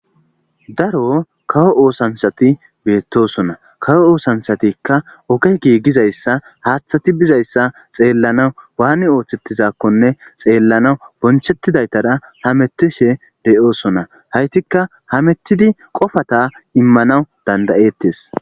daro kawo oosansati beettosona kawo oosansatikka oge giiggizayssa haaththati bizayssa xeellanaw waani ooththettizakkonne xeellanawu bonchettidaytara hamettishe deyoosona haytikka hamettidi qofata immanaw dandayeettes